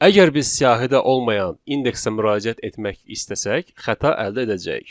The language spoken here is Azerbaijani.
Əgər biz siyahidə olmayan indeksə müraciət etmək istəsək, xəta əldə edəcəyik.